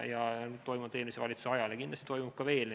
Neid toimus eelmise valitsuse ajal ja kindlasti toimub ka veel.